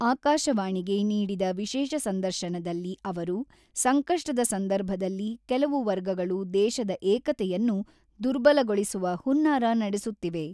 ಆಕಾಶವಾಣಿಗೆ ನೀಡಿದ ವಿಶೇಷ ಸಂದರ್ಶನದಲ್ಲಿ ಅವರು, ಸಂಕಷ್ಟದ ಸಂದರ್ಭದಲ್ಲಿ ಕೆಲವು ವರ್ಗಗಳು ದೇಶದ ಏಕತೆಯನ್ನು ದುರ್ಬಲಗೊಳಿಸುವ ಹುನ್ನಾರ ನಡೆಸುತ್ತಿವೆ.